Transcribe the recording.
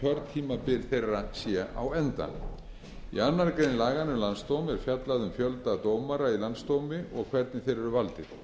að kjörtímabil þeirra sé á enda í annarri grein laganna um landsdóm er fjallað um fjölda dómara í landsdómi og hvernig þeir eru valdir